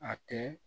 A tɛ